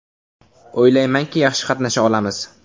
O‘ylaymanki, yaxshi qatnasha olamiz.